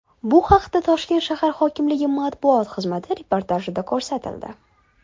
Bu haqda Toshkent shahar hokimligi matbuot xizmati reportajida ko‘rsatildi .